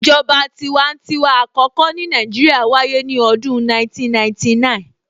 ìjọba tiwantiwa àkọ́kọ́ ní Nàìjíríà wáyé ní ọdún 1999